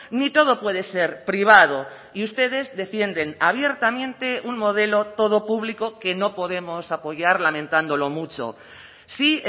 ni todo puede ser privado y ustedes defienden abiertamente un modelo todo público que no podemos apoyar lamentándolo mucho sí